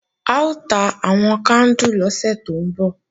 A ó ta àwọn kándù lọ́sẹ̀ tó ń bọ̀